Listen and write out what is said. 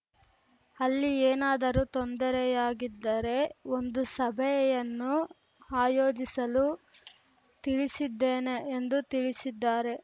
ಅಲ್ಲಿ ಏನಾದರೂ ತೊಂದರೆಯಾಗಿದ್ದರೆ ಒಂದು ಸಭೆಯನ್ನು ಆಯೋಜಿಸಲು ತಿಳಿಸಿದ್ದೇನೆ ಎಂದು ತಿಳಿಸಿದ್ದಾರೆ